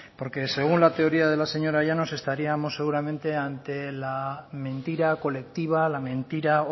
porque según la teoría de la señora llanos estaríamos seguramente ante la mentira colectiva la mentira